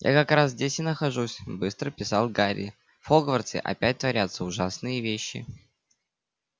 я как раз здесь и нахожусь быстро писал гарри в хогвартсе опять творятся ужасные вещи